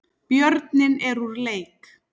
Björninn er úr leik